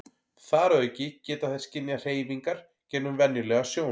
þar að auki geta þær skynjað hreyfingar gegnum venjulega sjón